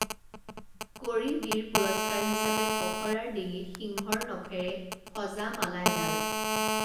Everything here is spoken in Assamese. কৰি বীৰ পুৰস্কাৰ হিচাবে পখৰাৰ ডিঙিত সিংহৰ নখৰে সজা মালা এডাল